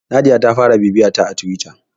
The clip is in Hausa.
Nadiya ta fara bibiyata a Tiwita.